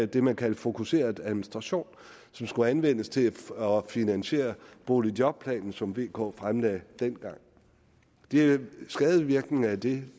det man kaldte fokuseret administration som skulle anvendes til at finansiere boligjobplanen som vk regeringen fremlagde dengang det er i øvrigt skadevirkninger af det